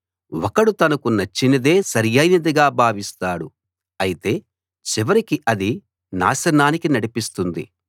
ఒకడు తనకు నచ్చినదే సరియైనదిగా భావిస్తాడు అయితే చివరికి అది నాశనానికి నడిపిస్తుంది